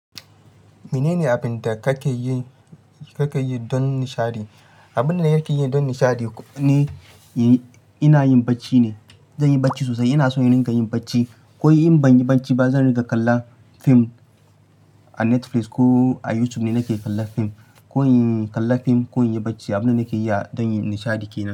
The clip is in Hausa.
Mene ne abin da kake yi, kake yi don nishaɗi? Abin da nake yi don nishaɗi ni, ina yin bacci ne. Zan yi bacci sosai. Ina son irin ƙa yin bacci. Ko in ban yi bacci ba, zan riƙa kalla fim a Netflix ko a YouTube ne nake kalla fim. Ko kalla fim ko yin bacci. Abin da nake yi a don nishaɗi ke nan.